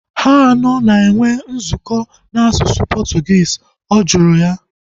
Ha anọ na-enwe nzukọ na asụsụ Portuguese? Ọ jụrụ